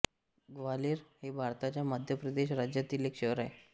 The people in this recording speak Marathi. ग्वाल्हेर हे भारताच्या मध्यप्रदेश राज्यातील एक शहर आहे